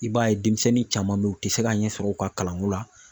I b'a ye denmisɛnnin caman bɛ yen u tɛ se ka ɲɛsɔrɔ u ka kalanko la.